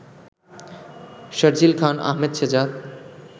Sharjeel Khan, Ahmed Shehzad